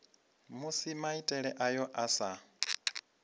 musi maitele ayo a sa